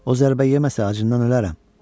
O zərbə yeməsə acından ölərəm.